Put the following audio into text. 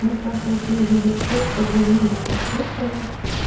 мы с сашей ездили в церковь вернулись покушали